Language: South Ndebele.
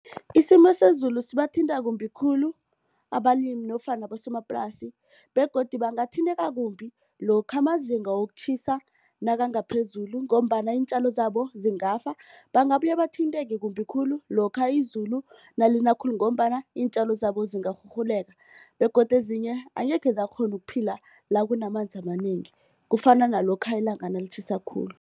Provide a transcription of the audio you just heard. Isimo sezulu sibathinta kumbi khulu abalimi nofana abosomaplasi begodu bangathinteka kumbi lokha amazinga wokutjhisa nakangaphezulu ngombana iintjalo zabo zingafa. Bangabuye bathinteke kumbi khulu lokha izulu nalina khulu ngombana iintjalo zabo zingarhurhuleka begodu ezinye angekhe zakghona ukuphila la kunamanzi amanengi kufana nalokha ilanga nalitjhisa khulu.